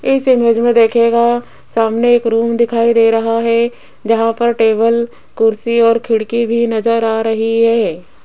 इस इमेज में देखिएगा सामने एक रूम दिखाई दे रहा है जहां पर टेबल कुर्सी और खिड़की भी नजर आ रही है।